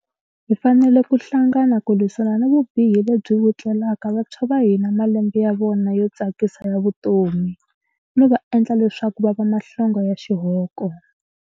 Hi fanele ku hlangana ku lwisana ni vubihi lebyi vutleleka vantshwa va hina malembe ya vona yo tsakisa ya vutomi, no va endla leswaku va va mahlonga ya xihoko.